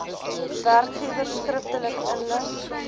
werkgewers skriftelik inlig